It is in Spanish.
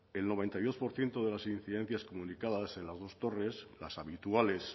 el noventa y dos por ciento de las incidencias comunicadas en las dos torres las habituales